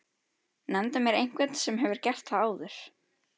Nefndu mér einhvern sem hefur gert það áður?!